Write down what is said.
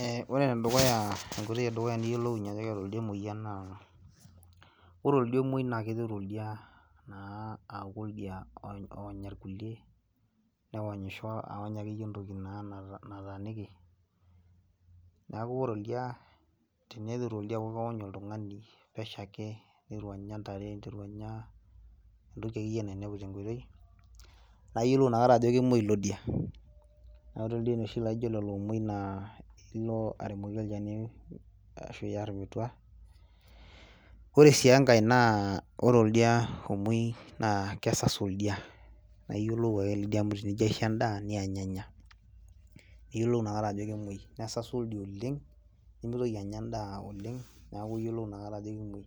Eeh ore enedukuya enkoitoi edukuya niyiolounyie ajo keeta oldia emoyian naa ore oldia omuoi naa niteru oldia aaku oldia onya irkulie newonyisho awony akeyie entoki naa nataaniki neeku ore oldia teneiteru oldia aony oltung'ani pesho ake neiteru anya intare neiteru entoki akeyie nainepu tenkoitoi naa iyiolou inakata ajo kemwoi ilo dia naa ore ildien oshi laijio lelo omuoi naa ilo aremoki olchani ashuu iyar tenkang ore sii enkae naa ore oldia omwoi naa kesasu oldia amu tenijio aisho endaa neany enya iyiolou inakata ajo kemwoi nesasu oldia oleng nemeitoki anya endaa oleng neeku iyiolo inakata ajo kemwoi